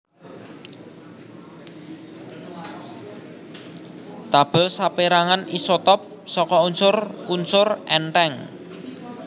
Tabèl sapérangan isotop saka unsur unsur èntheng